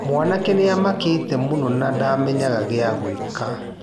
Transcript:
Mwanake nĩamakĩte mũno na ndamenyaga gia gwĩka.